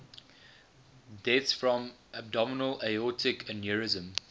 deaths from abdominal aortic aneurysm